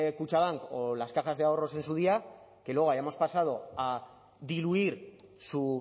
kutxabank o las cajas de ahorros en su día que luego hayamos pasado a diluir su